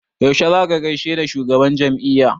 Yaushe za ka gaishe da shugaban jam'iyya?